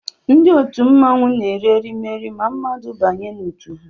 Ndị òtù mmọnwụ na eri erimeri ma mmadụ banye n'otu